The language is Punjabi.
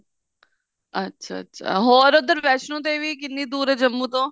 ਅੱਛਾ ਅੱਛਾ ਹੋਰ ਉੱਧਰ ਵੈਸ਼ਨੋ ਦੇਵੀ ਕਿੰਨੀ ਦੂਰ ਐ ਜੰਮੂ ਤੋਂ